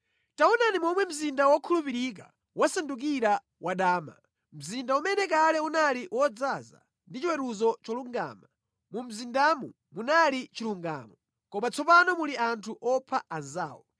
Taonani momwe mzinda wokhulupirika wasandukira wadama! Mzinda umene kale unali wodzaza ndi chiweruzo cholungama; mu mzindamo munali chilungamo, koma tsopano muli anthu opha anzawo!